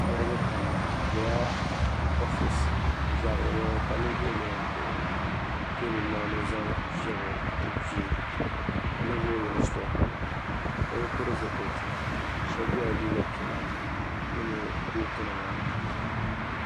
Niriba pam bɛ bela ofisi bɛ zabiri mi ka Ninvuɣu yino kpuɣi teebuli maa ni o zaŋ fiebi o kpee ka Ninvuɣu yino sitopuri o bɛ bi pili zi piliti shɛbi ye liiga piɛla mini kooti nima